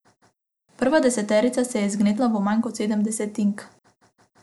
Prva deseterica se je zgnetla v manj kot sedem desetink.